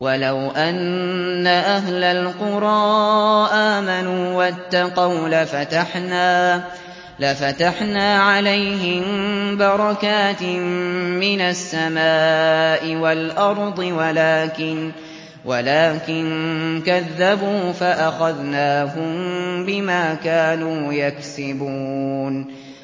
وَلَوْ أَنَّ أَهْلَ الْقُرَىٰ آمَنُوا وَاتَّقَوْا لَفَتَحْنَا عَلَيْهِم بَرَكَاتٍ مِّنَ السَّمَاءِ وَالْأَرْضِ وَلَٰكِن كَذَّبُوا فَأَخَذْنَاهُم بِمَا كَانُوا يَكْسِبُونَ